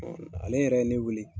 ale yɛrɛ ye, ne weele